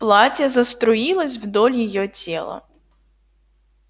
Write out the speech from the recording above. платье заструилось вдоль её тела